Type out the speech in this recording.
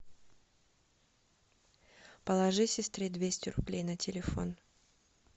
положи сестре двести рублей на телефон